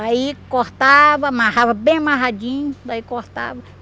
Aí cortava, amarrava bem amarradinho, daí cortava.